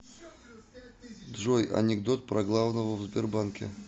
джой анекдот про главного в сбербанке